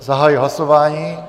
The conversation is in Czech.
Zahajuji hlasování.